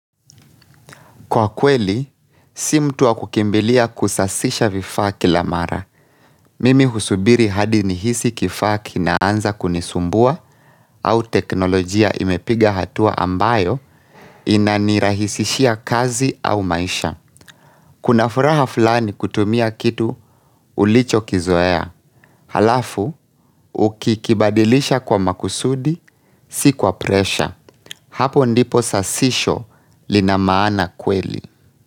Kwa kweli, si mtu wa kukimbilia kusasisha vifaa kila mara. Mimi husubiri hadi nihisi kifaa kinaanza kunisumbua au teknolojia imepiga hatua ambayo inanirahisishia kazi au maisha. Kuna furaha fulani kutumia kitu ulichokizoea. Halafu, ukikibadilisha kwa makusudi, si kwa presha. Hapo ndipo sasisho lina maana kweli.